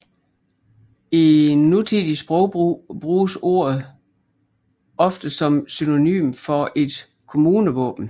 I nutidig sprogbrug bruges ordet ofte som synonym for et kommunevåben